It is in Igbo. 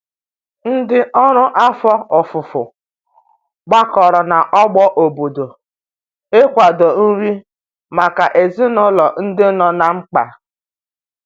Ndi ọrụ afọ ọfufo gbakọrọ na ogbo obodo ị kwado nri maka ezinulo ndi nọ na mkpa